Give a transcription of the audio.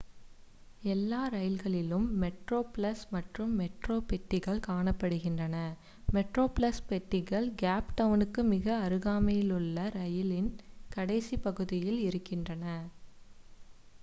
எல்லா ரயில்களிலும் மெட்ரோப்ளஸ் மற்றும் மெட்ரோ பெட்டிகள் காணப்படுகின்றன மெட்ரோப்ளஸ் பெட்டிகள் கேப் டவுணுக்கு மிக அருகாமைலுள்ள இரயிலின் கடைசிப் பகுதியில் இருக்கின்றன